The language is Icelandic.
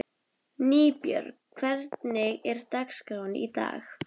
Nýbjörg, hvernig er dagskráin í dag?